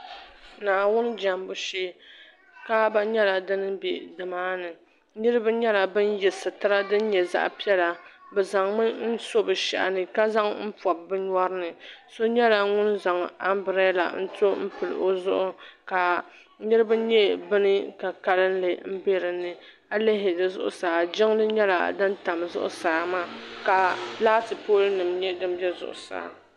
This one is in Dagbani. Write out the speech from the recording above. Naawuni jambu shee kaaba nyɛla din bɛ di maa ni niriba nyɛla bin yɛ sitira din nyɛ zaɣa piɛla bi zaŋ mi so bi shahi ni ka zaŋ n pɔbi bi nyɔri ni so nyɛla ŋun zaŋ ambirela n to n pili o zuɣu ka niriba nyɛ bin ka kalinli n bɛ di ni ayi lihi di zuɣusaa jiŋli nyɛla din tam di zuɣusaa maa ka laati pooli nim nyɛ din bɛ zuɣusaa.